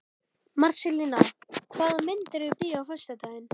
Marselína, hvaða myndir eru í bíó á föstudaginn?